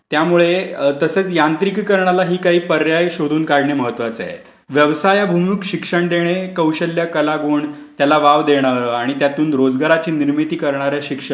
त्यामुळे तसेच यांत्रिकीकरणाला ही काही पर्याय शोधून काढणे महत्वाचे आहे. व्यवसायभिमुख शिक्षण देणे, कौशल्य कलागुण त्याला वाव देणे आणि त्यातून रोजगारची निर्मिती करणारे शिक्षण,